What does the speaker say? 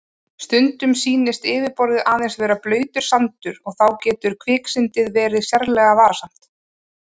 Stundum sýnist yfirborðið aðeins vera blautur sandur og þá getur kviksyndið verið sérlega varasamt.